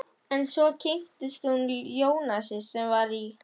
En svo kynntist hún Jónasi sem var í